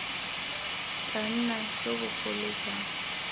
tla nna jo bogolo jang